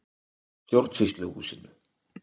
Stjórnsýsluhúsinu